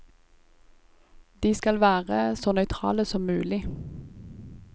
De skal være så nøytrale som mulig.